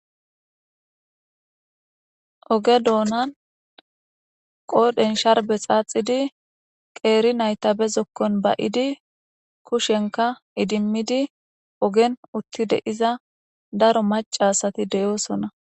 oge doonan qoodhen sharbe xaaxidi qeeri nayta be zokkon bayidi kushenka idimmidi ogen uttide iza daro macaasati deyoosona